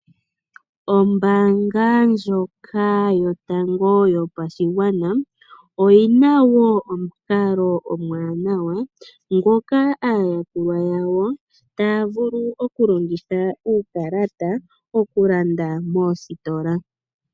Ombaanga ndyoka yotango yopashigwana oyina wo omukalo omwanawa ngoka aayakulwa yawo taya vulu okulongitha uukalata okulanda moositola.